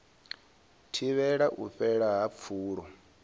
thivhele u fhela ha pfulo